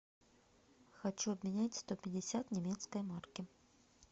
хочу обменять сто пятьдесят немецкой марки